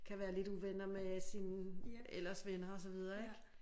Kan være lidt uvenner med sine ellers venner og så videre ik